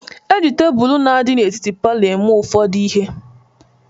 E ji tebulu na-adị etiti palọ eme ụfọdụ ihe.